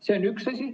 See on üks asi.